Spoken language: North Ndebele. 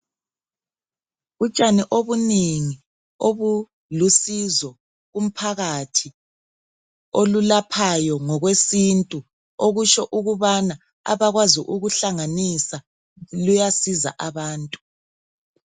Utshani obunengi obulusizo kumphakathi olulaphayo ngokwesintu okutsho ukubana abakwazi ukuhlanganisa luyasiza abantu.